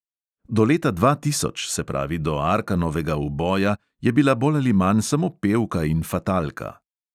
Do leta dva tisoč, se pravi do arkanovega uboja, je bila bolj ali manj samo pevka in fatalka.